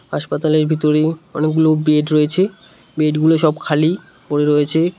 হাসপাতালের ভিতরে অনেকগুলো বেড রয়েছে বেডগুলো সব খালি পড়ে রয়েছে।